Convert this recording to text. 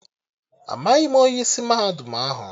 Amaghị m onye isi mahadum ahụ